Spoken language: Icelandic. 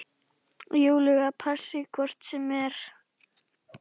Júlíu passi hvort sem er.